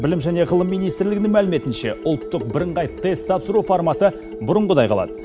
білім және ғылым министрлігінің мәліметінше ұлттық бірыңғай тест тапсыру форматы бұрынғыдай қалады